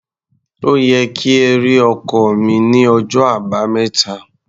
Ó yẹ kí ẹ rí ọkọ́ mi ní ọjọ́ Àbámẹ́ta.